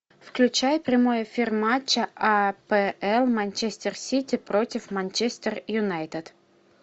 включай прямой эфир матча апл манчестер сити против манчестер юнайтед